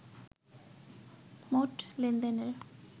মোট লেনদেনের